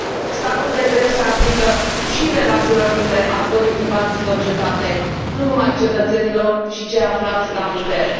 Statul de drept se aplică și relațiilor dintre actorii privați din societate, nu numai cetățenilor și celor aflați la putere.